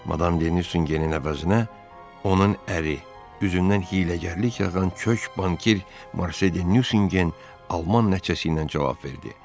Madam Denusengenin əvəzinə onun əri, üzündən hiyləgərlik yağan kök banker Marsel Denusengen alman nəticəsiylə cavab verdi.